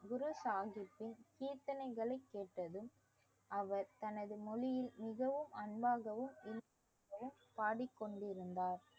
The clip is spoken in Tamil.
குரு சாஹிப்பின் கீர்த்தனைகளை கேட்டதும் அவர் தனது மொழியில் மிகவும் அன்பாகவும் பாடிக்கொண்டிருந்தார்